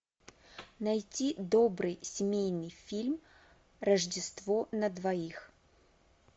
найти добрый семейный фильм рождество на двоих